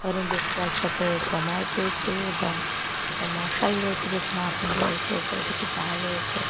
অনেক ব্যক্তি একসাথে জমায়েত হয়েছে এবং একটা মশাল রয়েছে যেখানে আগুন জ্বলছে ওপরে কিছু তার রয়েছে।